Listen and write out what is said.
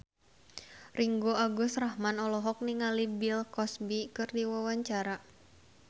Ringgo Agus Rahman olohok ningali Bill Cosby keur diwawancara